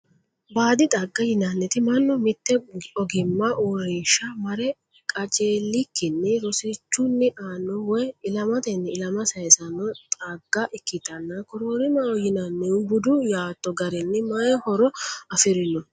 baadi xagga yinanniti mannu mitte ogimma uurrinsha mare qajeelikkinni rosichunni aanno woyi ilamatenni ilama sayiisanno xagga ikkitanna koroorimaho yinannihu budu yaatto garinni mayi horo afirino?